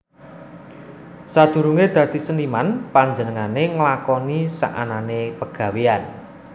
Sadurunge dadi seniman panjenengane nglakoni saanane pegawéyan